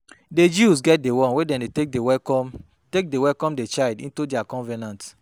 Di jews get the one wey dem de take welcome the take welcome the child into their covenant